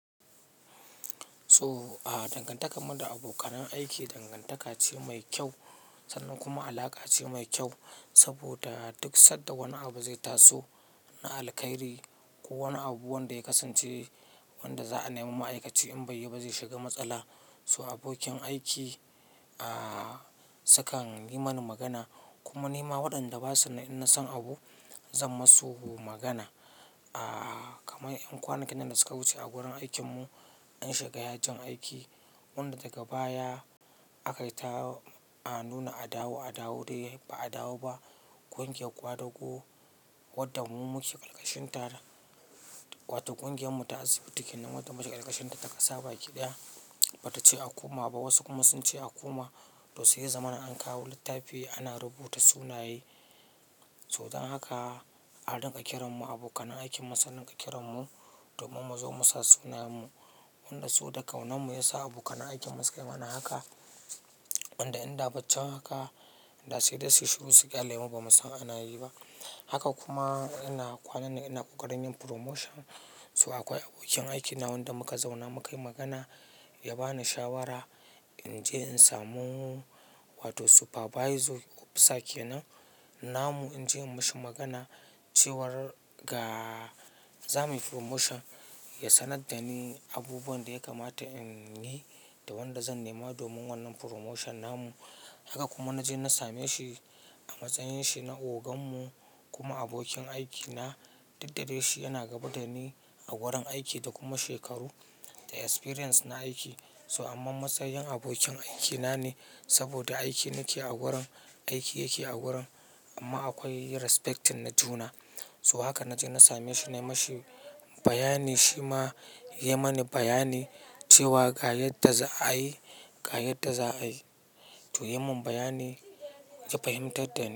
So a dangantarmu da abokanan aiki, dangantaka ce mai kyau sannan kuma alaƙa ce mai kyau saboda duk sanda wani abu zai taso na alkhairi ko wani abu wanda ya kasance wanda za a nemi ma'aikaci in bai yi ba zai shiga matsala. So abokin aiki, a, sukan yi mani magana kuma ni ma waɗanda ba su nan in na san abu zan masu magana. A, kamar ƴan kwanakin nan da suka wuce a wurin aikinmu an shiga yajin aiki wanda daga baya aka yi ta a nuna adawo adawo dai ba adawo ba. Kungiyar ƙwadago wadda mu muke ƙalkashinta da, wato ƙungiyarmu ta asibi kenan wadda muke ƙalkashinta ta ƙasa baki ɗaya ba ta ce a koma ba. Wasu kuma sun ce a koma. To sai zaman an kawo littafi ana rubuta sunaye. To dan haka an dinga kiran mu abokan aikinmu sun dinga kiran mu domin mu zo musa sunayenmu. Wanda so da kaunanmu ya sa abokan aikinmu suka yi mana haka. Wanda in da baccin haka da sai dai su shiru su ƙyale mu ba mu san ana yi ba. Haka kuma ina kwanannan ina ƙoƙarin yin promotion. To akwai abokin aikina wanda muka zauna mukayi magana ya bani shawara inje in samu wato supervisor ko officer kenan namu in je in mashi magana cewar ga za muyi promotion, ya sanar da ni abubuwan da ya kamata in yi da wanda zan nema domin wannan promotion namu. Haka kuma na je na same shi a matsayin shi na ogan mu kuma abokin aikina. Dukda dai shi yana gaba da ni a wurin aiki da kuma shekaru da experience na aiki. So amma matsayin abokin aikina ne saboda aiki nake a wurin, aiki yake a wurin amma akwai respect na juna. So haka naje na sameshi na mashi bayani shima ya mani bayani cewa ga yadda za'ayi ga yadda za'ayi to ya yi min bayani, ya fahimtar da ni.